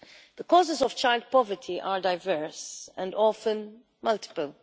The causes of child poverty are diverse and often multiple.